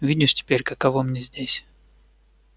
видишь теперь каково мне здесь